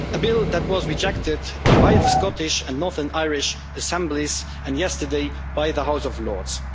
a bill that was rejected by the Scottish and Northern Irish Assemblies, and yesterday by the House of Lords